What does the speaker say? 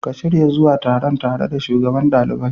Ka shirya zuwa taron tare da Shugaban ɗaliban.